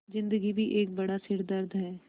ज़िन्दगी भी एक बड़ा सिरदर्द है